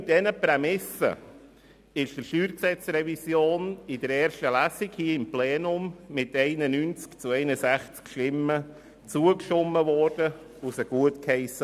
Unter diesen Prämissen hat das Plenum der StG-Revision in der ersten Lesung mit 91 zu 61 Stimmen zugestimmt.